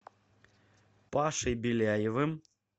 пашей беляевым